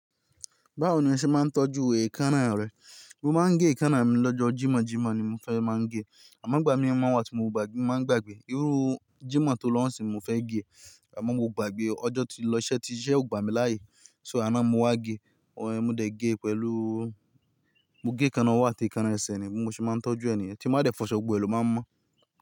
Báwo ni ẹ ṣe máa ń tọ́jú èékánná rẹ? Mo máa ń gé èékánná mi lọ́jọ́ Jímọ̀jímọ̀ ni mo fẹ́ máa ń gé e, àmọ́ gbà mí mú wá tí mo bàá máa ń gbàgbé, irú Jímọ̀ tó lọ́hùn sí mo fẹ́ gé e, àmọ́ mo gbàgbé ọjọ́ tí lọ ṣẹ́ tí iṣẹ́ ò gbà mí láàyè, so àná mo wá gé, òun ẹ mu dé ge pẹ̀lú, mo gé e kan ọwọ́ àti èékánná ẹsẹ̀ ni, mo sì máa ń tọ́jú ẹniyan tí máa dẹ̀ fọṣọ gbogbo ẹ lòmá a mọ̀.